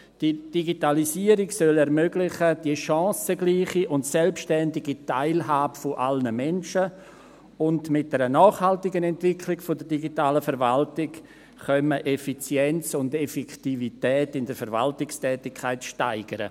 Die Digitalisierung solle die chancengleiche und selbstständige Teilhabe aller Menschen ermöglichen, und mit einer nachhaltigen Entwicklung der digitalen Verwaltung könne man Effizienz und Effektivität in der Verwaltungstätigkeit steigern.